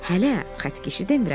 Hələ xətkeşi demirəm!